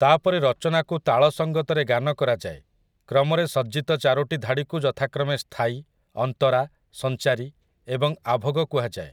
ତା'ପରେ ରଚନାକୁ ତାଳ ସଙ୍ଗତରେ ଗାନ କରାଯାଏ, କ୍ରମରେ ସଜ୍ଜିତ ଚାରୋଟି ଧାଡ଼ିକୁ ଯଥାକ୍ରମେ ସ୍ଥାୟୀ, ଅନ୍ତରା, ସଞ୍ଚାରୀ ଏବଂ ଆଭୋଗ କୁହାଯାଏ ।